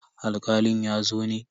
Alkalin ya zo ne?